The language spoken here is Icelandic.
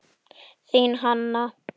Þín, Hanna.